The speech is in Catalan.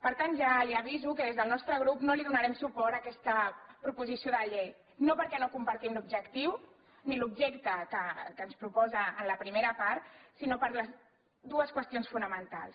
per tant ja l’aviso que des del nostre grup no donarem suport a aquesta proposició de llei no perquè no en compartim l’objectiu ni l’objecte que ens proposa en la primera part sinó per les dues qüestions fonamentals